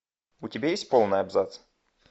у тебя есть полный абзац